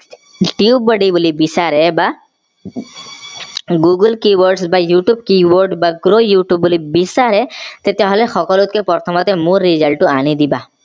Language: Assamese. tubebuddy বুলি বিচাৰে বা google key board বা youtube key board বা youtube বুলি বিচাৰে তেতিয়া হলে সকলোতকে প্ৰথমে মোৰ result টো আনি দিবা